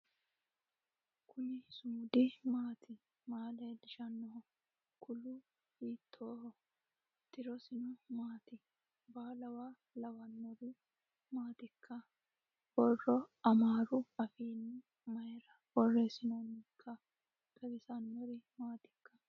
kuni sumudu maati maa leellishannoho kuulu hiitoho tirosino mati ? baalluwa lawannori maatikka ? borro amaaru afiinni mayra borressinooonnikka xawissannori maatikka